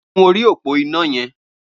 Gùn óri ópó iná yẹn